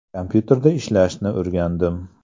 Kompyuterda ishlashni o‘rgandim.